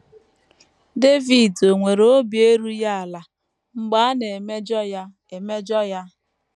Devid ò nwere obi erughị ala mgbe a na - emejọ ya? emejọ ya?